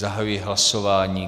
Zahajuji hlasování.